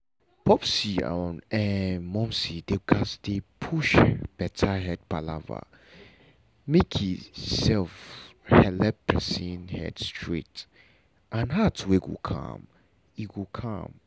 popsi and um momsi dem gatz dey push better head palava make e um helep person head straight and heart um calm. um calm.